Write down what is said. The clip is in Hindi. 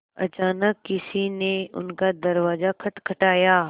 अचानक किसी ने उनका दरवाज़ा खटखटाया